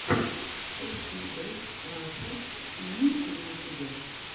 эф пи эс раша имеется ли у тебя